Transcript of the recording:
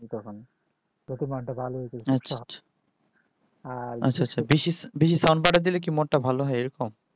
আর বেশি sound বাড়াই দিলে কি মন ভালো হয় এইরকম